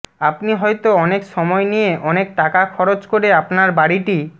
আপনি হয়ত অনেক সময় নিয়ে অনেক টাকা খরচ করে আপনার বাড়িটি